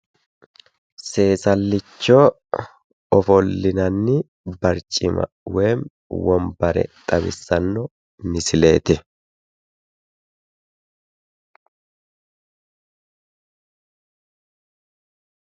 seesallicho ofollinanni barcima woy wonbare xawissanno misileeti.